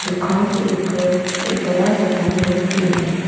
दुकान के ऊपर एक बड़ा सा साइन बोर्ड भी है।